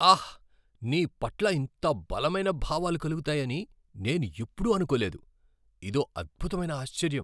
ఆహ్! నీ పట్ల ఇంత బలమైన భావాలు కలుగుతాయని నేనెప్పుడూ అనుకోలేదు. ఇదో అద్భుతమైన ఆశ్చర్యం.